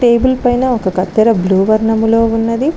Table పైన ఒక కత్తెర బృవర్ణములో ఉన్నది.